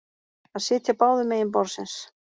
Að sitja báðum megin borðsins